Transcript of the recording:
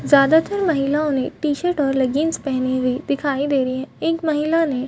ज़्यादातर महिलाओं T shirt leggings पहनी हुई दिखाई दे रही है एक महिला ने --